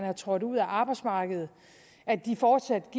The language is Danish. er trådt ud af arbejdsmarkedet fortsat